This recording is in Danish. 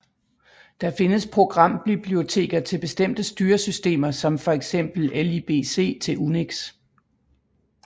Der findes programbiblioteker til bestemte styresystemer som for eksempel libc til UNIX